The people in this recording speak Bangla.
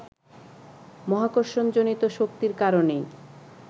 মহাকর্ষণ-জনিত শক্তির কারণেই